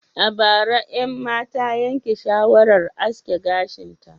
A bara, Emma ta yanke shawarar aske gashinta